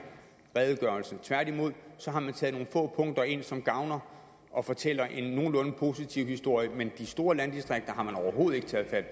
redegørelse tværtimod har man taget nogle få punkter ind som gavner og fortæller en nogenlunde positiv historie men de store landdistrikter har man overhovedet ikke taget fat